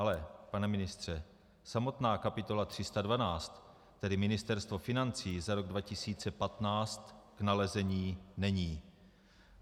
Ale pane ministře, samotná kapitola 312, tedy Ministerstvo financí za rok 2015, k nalezení není.